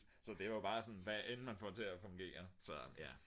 så det er bare sådan hvad end man får til at fungere så ja